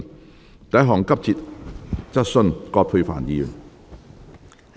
第一項急切質詢。